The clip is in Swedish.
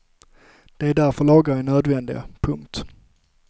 Det är därför lagar är nödvändiga. punkt